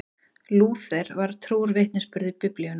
Lúther var trúr vitnisburði Biblíunnar.